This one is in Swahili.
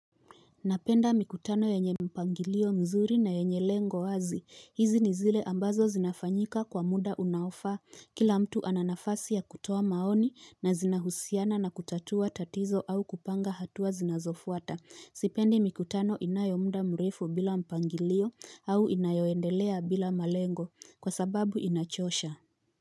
Napenda mikutano yenye mpangilio mzuri na yenye lengo wazi. Hizi ni zile ambazo zinafanyika kwa mda unaofaa. Kila mtu ana nafasi ya kutoa maoni na zinahusiana na kutatua tatizo au kupanga hatua zinazofuata. Sipendi mikutano inayo mda mrefu bila mpangilio au inayoendelea bila malengo. Kwa sababu inachosha.